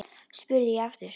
spurði ég aftur.